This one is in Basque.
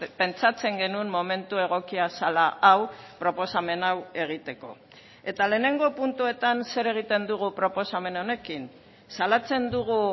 pentsatzen genuen momentu egokia zela hau proposamen hau egiteko eta lehenengo puntuetan zer egiten dugu proposamen honekin salatzen dugu